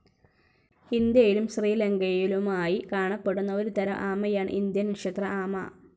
ഇന്ത്യയിലും ശ്രീലങ്കയിലുമായി കാണപ്പെടുന്ന ഒരുതരം ആമയാണ് ഇന്ത്യൻ നക്ഷത്ര ആമ.